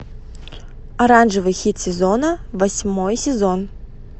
оранжевый хит сезона восьмой сезон